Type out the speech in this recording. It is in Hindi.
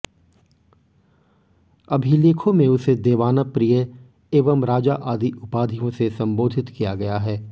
अभिलेखों में उसे देवाना प्रिय एवं राजा आदि उपाधियों से सम्बोधित किया गया है